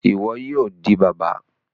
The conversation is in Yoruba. Iwọ yoo di baba!